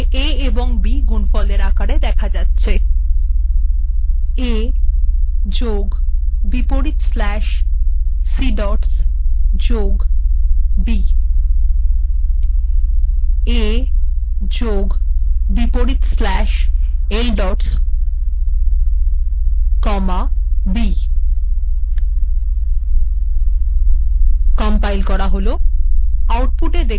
আউটপুটে a এবং b গুনফলের আকারে দেখা যাচ্ছে a plus \cdots plus b a comma \ldots comma b